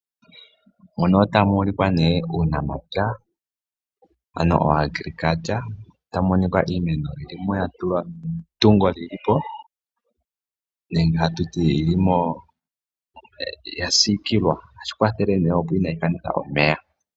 Mu ka otamu ulikwa uunamapya. Tamu monika iimeno ya tulwa metungo li li po nenge hatu ti ya siikilwa. Ohashi kwathele opo iimeno kaayi kanithe omeya.